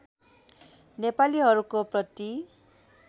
नेपालीहरूको प्रति